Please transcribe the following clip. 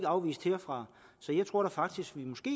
afvist herfra så jeg tror faktisk vi måske